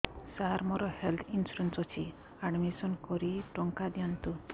ସାର ମୋର health insurance ଅଛି admission କରି ଟଙ୍କା ଦିଅନ୍ତୁ